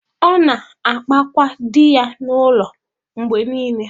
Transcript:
Ọ na-akpakwa di ya n’ụlọ mgbe niile.